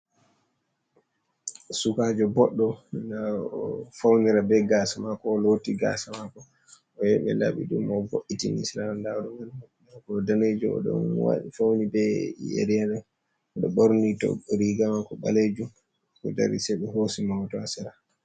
Sukajo boddo na faunira be gasa mako, o loti gasa mako oyahu ɓe laɓi ɗum mo vo’itin sera darungal ako danejo, odon fauni be yari ha odo borni to riga mako balejum o dari se ɓe hosi mo hoto ha sera.